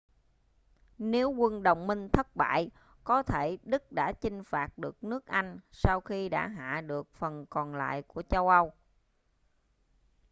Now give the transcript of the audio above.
nếu quân đồng minh thất bại có thể đức đã chinh phạt được nước anh sau khi đã hạ được phần còn lại của châu âu